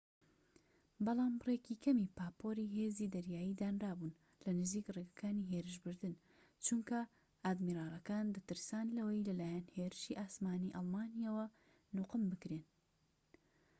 بەڵام بڕێکی کەمی پاپۆری هێزی دەریایی دانرابوون لە نزیك ڕێگەکانی هێرشبردن چونکە ئادمیرالەکان دەترسان لەوەی لەلایەن هێرشیی ئاسمانیی ئەڵمانییەوە نوقم بکرێن